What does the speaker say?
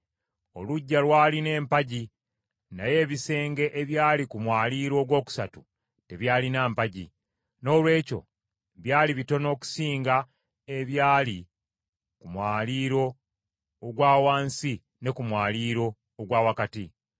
Oluggya lwalina empagi naye ebisenge ebyali ku mwaliiro ogwokusatu tebyalimu mpagi, noolwekyo byali bitono okusinga ebyali ku mwaliiro ogwa wansi ne ku mwaliiro ogwa wakati.